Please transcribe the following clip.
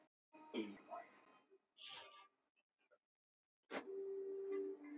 Margt kom mér á óvart.